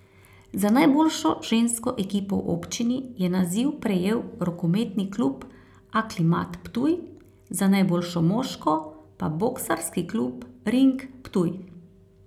Za najboljšo žensko ekipo v občini je naziv prejel rokometni klub Aklimat Ptuj, za najboljšo moško pa boksarski klub Ring Ptuj.